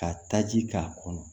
Ka taji k'a kɔnɔ